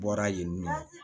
Bɔra yen nɔ